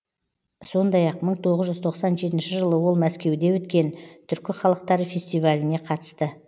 сондай ақ мың тоғыз жүз тоқсан жетінші жылы ол мәскеуде өткен түркі халықтары фестиваліне қатысты